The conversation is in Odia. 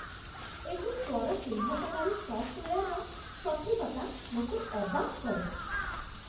ଏହି ସ୍ୱର ଚିହ୍ନଟକାରୀ ସଫ୍ଟୱେୟାର୍‌ର ସଠିକତା ମୋତେ ଅବାକ୍ କରେ।